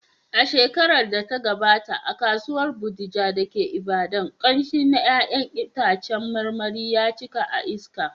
A shekarar da ta gabata, a Kasuwar Bodija da ke Ibadan, ƙamshi na ’ya’yan itacen marmari ya cika a iska.